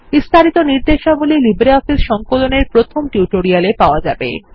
বিস্তারিত নির্দেশাবলী লিব্রিঅফিস সংকলন এর প্রথম টিউটোরিয়ালে পাওয়া যাবে